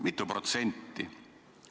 Mitu protsenti?